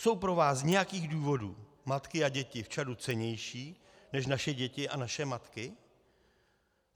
Jsou pro vás z nějakých důvodů matky a děti v Čadu cennější než naše děti a naše matky?